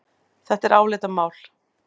Þetta er álitamál.